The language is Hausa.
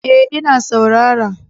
Eh ina saurara